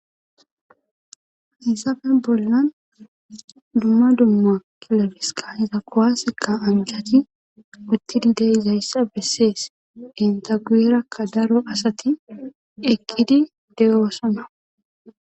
hayssafe bollan dumma dumma kilabisika iza kowaseka anjati uttidi de izayssa bessees intaguyerakka daro asati ekkidi deyoosona